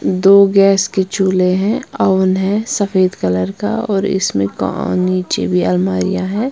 दो गैस के चूले हैं अवन है सफेद कलर का और इसमें नीचे में अलमारिया है।